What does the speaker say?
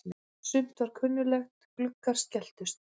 Sumt var kunnuglegt: Gluggar skelltust.